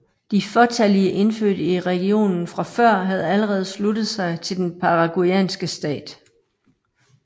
De fåtallige indfødte i regionen fra før havde allerede sluttet sig til den paraguayanske stat